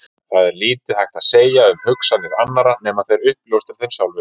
Það er lítið hægt að segja um hugsanir annarra nema þeir uppljóstri þeim sjálfir.